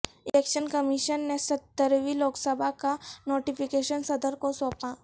election commission نے سترہویں لوک سبھا کا نوٹفکیشن صدرکو سونپا